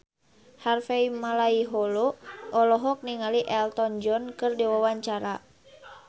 Harvey Malaiholo olohok ningali Elton John keur diwawancara